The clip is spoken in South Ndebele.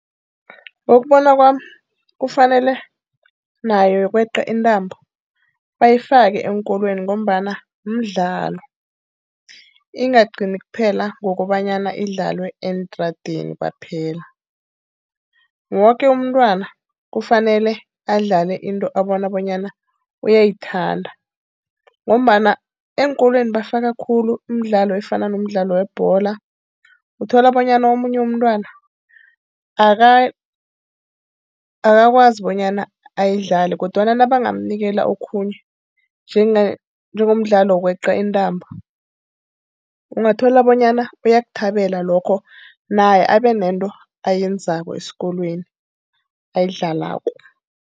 Ngokubona kwami, kufanele nayo yokweqa intambo bayifake eenkolweni ngombana mdlalo. Ingagcini kuphela ngokobanyana idlalwe eentradeni kwaphela. Woke umntwana kufanele adlale into abona bonyana uyayithanda ngombana eenkolweni bafaka khulu imidlalo efana nomdlalo webholo. Uthola bonyana omunye umntwana akakwazi bonyana ayidlale, kodwana nabanganikelwa okhunye njengomdlalo wokweqa intambo. Ungathola bonyana bayakuthabela lokho naye abe nento ayenzako esikolweni, ayidlalako.